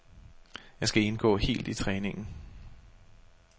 Jeg skal indgå helt i træningen.